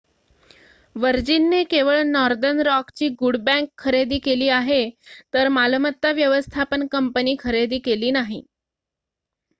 वर्जिनने केवळ नॉर्दर्न रॉकची good bank' खरेदी केली आहे तर मालमत्ता व्यवस्थापन कंपनी खरेदी केली नाही